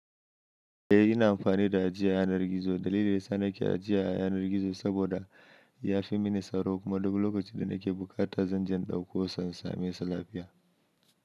Eh ina amfani da ajiya a yanar gizo. Dalilin dayasa nake ajiya a yanar gizo sabida ya fi mini tsaro kuma duk lokacin da nake buƙata zanje in ɗauko sa in same sa lafiya.